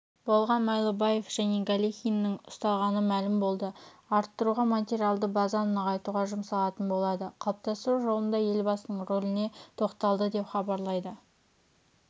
болған майлыбаев және галихиннің ұсталғаны мәлім болды арттыруға материалды базаны нығайтуға жұмсалатын болады қалыптастыру жолында елбасының рөліне тоқталды деп хабарлайды